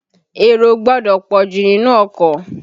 Èrò ò gbọdọ̀ pọ̀jù nínú ọkọ̀.